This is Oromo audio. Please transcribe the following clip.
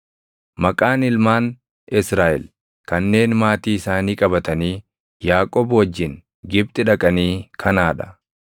Maqaan ilmaan Israaʼel kanneen maatii isaanii qabatanii Yaaqoob wajjin Gibxi dhaqanii kanaa dha: